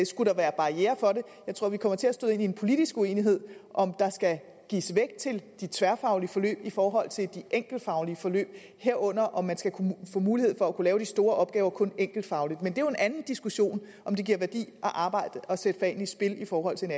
skulle være barrierer for det jeg tror vi kommer til at støde ind i en politisk uenighed om der skal gives vægt til de tværfaglige forløb i forhold til de enkeltfaglige forløb herunder om man skal kunne få mulighed for at lave de store opgaver kun enkeltfagligt men det er jo en anden diskussion om det giver værdi at arbejde og sætte fagene i spil i forhold til